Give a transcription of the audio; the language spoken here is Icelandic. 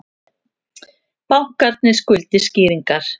Bankarnir skuldi skýringar